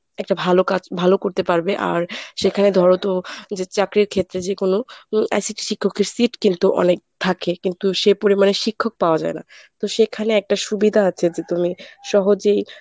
একটা ভালো কাজ ভালো করতে পারবে, আর সেখানে ধরো তো যে চাকরির ক্ষেত্রে যে কোনো ICT শিক্ষকের seat কিন্তু অনেক থাকে কিন্তু সে পরিমাণে শিক্ষক পাওয়া যায় না, তো সেখানে একটা সুবিধা আছে যে তুমি সহজেই